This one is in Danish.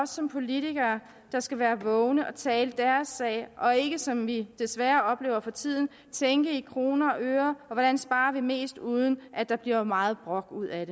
som politikere der skal være vågne og tale deres sag og ikke som vi desværre oplever for tiden tænke i kroner og øre og hvordan vi sparer mest uden at der bliver for meget brok ud af